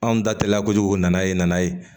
Anw da teliyala kojugu nana ye nana ye